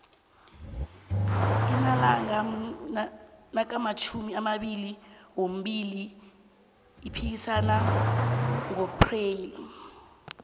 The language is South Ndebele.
arnalanga nakamatjhumi amabili wambili yiphasika ngoxpreli